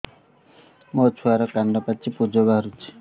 ମୋ ଛୁଆର କାନ ପାଚି ପୁଜ ବାହାରୁଛି